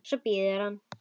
Svo bíður hann.